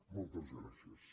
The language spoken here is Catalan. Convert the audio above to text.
moltes gràcies